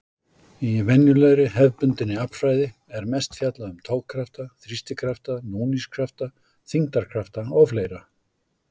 Í venjulegri, hefðbundinni aflfræði er mest fjallað um togkrafta, þrýstikrafta, núningskrafta, þyngdarkrafta og fleira.